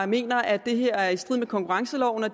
mener at det her er i strid med konkurrenceloven og